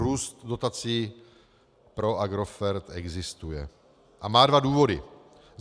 Růst dotací pro Agrofert existuje a má dva důvody.